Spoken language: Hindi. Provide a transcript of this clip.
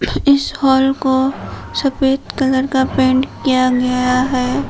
इस हाल को सफेद कलर का पेंट किया गया है।